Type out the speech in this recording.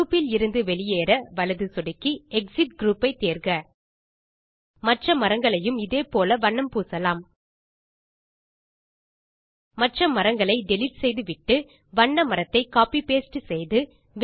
group இலிருந்து வெளியேற வலது சொடுக்கி எக்ஸிட் குரூப் ஐ தேர்க மற்ற மரங்களையும் இதே போல் வண்ணம் பூசலாம் மற்ற மரங்களை டிலீட் செய்துவிட்டு வண்ண மரத்தை கோப்பி பாஸ்டே செய்து